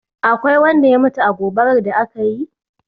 Akwai wanda ya mutu a gobarar da ka yi?